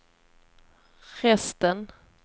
resten